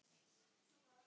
Og ekki nóg með þetta.